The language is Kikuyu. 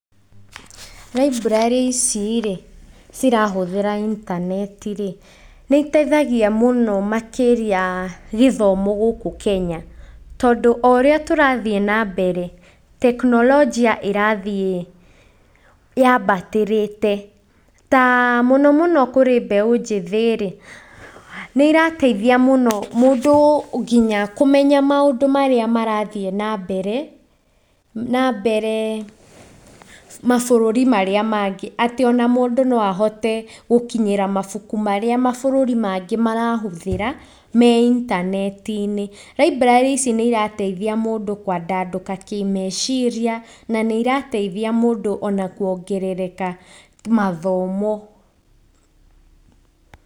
Raiburarĩ icirĩ cirahũthĩra intanetirĩ, nĩ iteihagia mũno makĩria gĩthomo gũkũ Kenya, tondũ oũrĩa tũrathiĩ na mbere tekinoronjia ĩrathiĩ yabatĩrĩte, ta mũno, mũno, kũrĩ mbeũ njĩthĩrĩ, nĩ iratethia mũno mũndũ nginya kũmenya maũndũ marĩa marathiĩ na mbere, na mberee mabũrũri marĩa mangĩ, atĩ ona mũndũ noahote gũkinyĩra mabuku marĩa mabũrũri mangĩ marahũthĩra, me intanetinĩ, raiburarĩ ici nĩ irateithia mũndũ kwandandũka kĩmeciria, na nĩ irateithia mũndũ ona kwongerereka mathomo.